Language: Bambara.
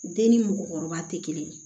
Den ni mɔgɔkɔrɔba tɛ kelen ye